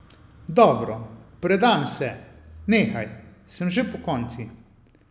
Dobro, predam se, nehaj, sem že pokonci.